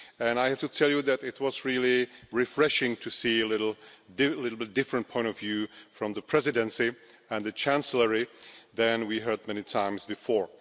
I have to tell you that it was really refreshing to see a slightly different point of view from the Presidency and the Chancellery than we have heard many times before.